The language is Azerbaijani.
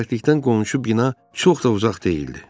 Xoşbəxtlikdən qonşu bina çox da uzaq deyildi.